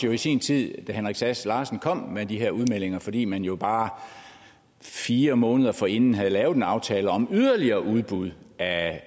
i sin tid da herre henrik sass larsen kom med de her udmeldinger fordi man jo bare fire måneder forinden havde lavet en aftale om yderligere udbud af